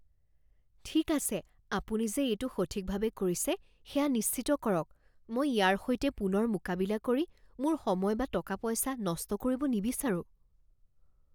ঠিক আছে আপুনি যে এইটো সঠিকভাৱে কৰিছে সেয়া নিশ্চিত কৰক। মই ইয়াৰ সৈতে পুনৰ মোকাবিলা কৰি মোৰ সময় বা টকা পইচা নষ্ট কৰিব নিবিচাৰোঁ।